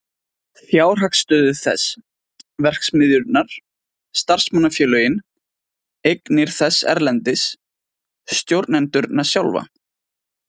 Fjárhagsstöðu þess, verksmiðjurnar, starfsmannafélögin, eignir þess erlendis, stjórnendurna sjálfa.